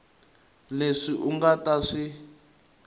leswi u nga ta swi